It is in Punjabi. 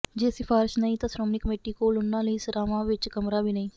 ਜੇ ਸਿਫਾਰਸ਼ ਨਹੀ ਤਾਂ ਸ੍ਰੋਮਣੀ ਕਮੇਟੀ ਕੋਲ ਉਹਨਾਂ ਲਈ ਸਰਾਵਾਂ ਵਿੱਚ ਕਮਰਾ ਵੀ ਨਹੀ